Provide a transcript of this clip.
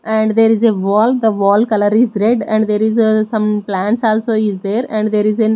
and there is a wall the wall colour is red and some plants also is there and there is a --